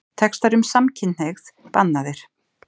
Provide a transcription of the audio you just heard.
Textar um samkynhneigð bannaðir